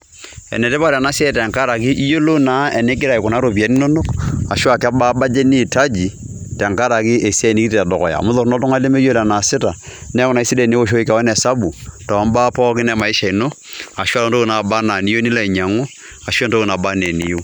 Enetipat ena siai tenkaraki iyolou naa enigira aikunaa iropiani inonok ashuu a kebaa budget niitaji tenkaraki esiai nekitii te dukuya amu torono oltung'ani lemeyiolo enaasita neeku naake sidai enioshoki keon esabu tombaa pookin e maisha ino, ashuu a ntokitin naaba enee niyeu nilo ainyang'u, ashuu entoki naba naa eniyiu.